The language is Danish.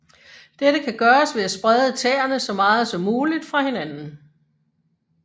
Dette kan gøres ved at sprede tæerne så meget som muligt fra hinanden